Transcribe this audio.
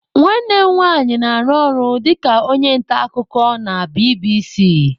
Nwanne m nwanyị na-arụ ọrụ dịka onye nta akụkọ na BBC(British Broadcasting Corporation)